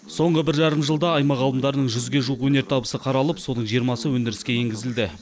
соңғы бір жарым жылда аймақ ғалымдарының жүзге жуық өнертабысы қаралып соның жиырмасы өндіріске енгізілді